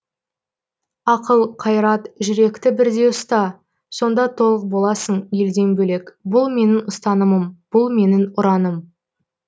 ақыл қайрат жүректі бірдей ұста сонда толық боласың елден бөлек бұл менің ұстанымым бұл менің ұраным